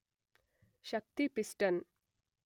Shakti piston